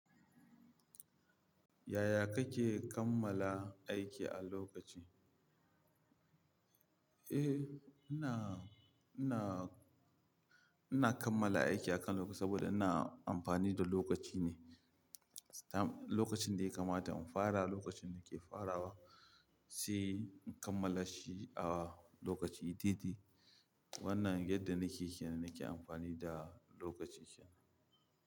Yaya kake kammala aiki a lokaci? Eh, ina, ina, ina kammala aiki akan lokaci saboda ina amfani da lokaci ne. Lokacin da ya kamata in fara, lokacin da ke fara, sai in kammala shi a lokaci daidai. Wannan yadda nike kiya nake amfani da lokaci kenan.